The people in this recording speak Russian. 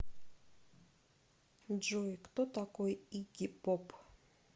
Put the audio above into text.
джой кто такой игги поп